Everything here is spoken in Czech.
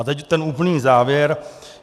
A teď ten úplný závěr.